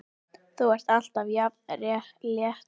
Þú ert alltaf jafn léttur!